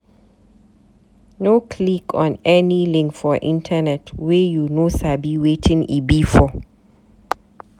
No click on any link for internet wey you no sabi wetin e be for.